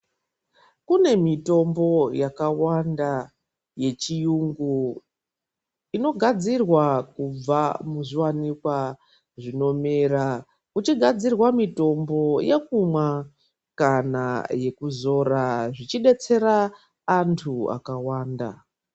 Kune mitombo yakawanda yechiyungu, inogadzirwa kubva muzviwanikwa zvinomera uchigadzirwa mitombo yekumwa kana yekuzora zvichidetsera antu akawanda.